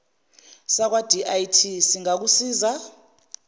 sakwa dti singakusiza